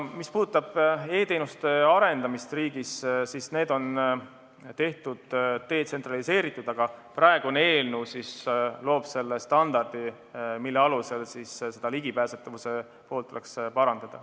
Mis puudutab e-teenuste arendamist riigis, siis need on detsentraliseeritud, aga praegune eelnõu loob standardi, mille alusel seda ligipääsetavuse poolt tuleks parandada.